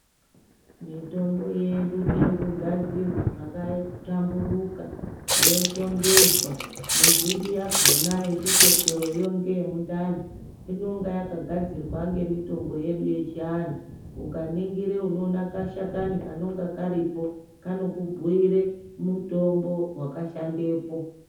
Mitombo yedu irikugadzirwa zvakahlamburuka, yoshongedzwa mizhinji yakona yechikotsoroyo ngeye mundani inonga yakagadzirwa ngemitombo yedu yechiantu. Ukaningire unoona kashakani kanonga karipo kanokubhuire mutombo vakashandepo.